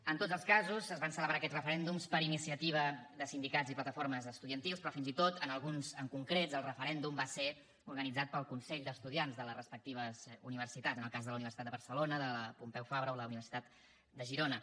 en tots els casos es van celebrar aquests referèndums per iniciativa de sindicats i plataformes estudiantils però fins i tot en alguns en concret el referèndum va ser organitzat pel consell d’estudiants de les respectives universitats en el cas de la universitat de barcelona de la pompeu fabra o la universitat de girona